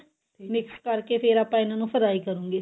mix ਕਰਕੇ ਫਿਰ ਆਪਾਂ ਇਹਨਾ ਨੂੰ fry ਕਰੂਂਗੇ